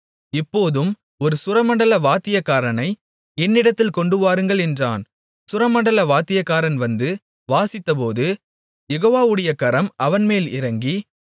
இப்போதும் ஒரு சுரமண்டல வாத்தியக்காரனை என்னிடத்தில் கொண்டுவாருங்கள் என்றான் சுரமண்டல வாத்தியக்காரன் வந்து வாசித்தபோது யெகோவாவுடைய கரம் அவன்மேல் இறங்கி